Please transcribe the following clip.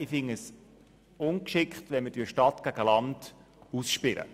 Ich finde es ungeschickt, die Stadt gegen das Land auszuspielen.